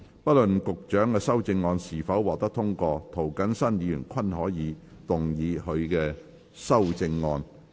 不論局長的修正案是否獲得通過，涂謹申議員均可動議他的修正案。